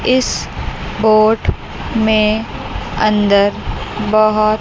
इस बोट में अंदर बहोत--